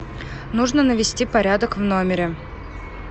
нужно навести порядок в номере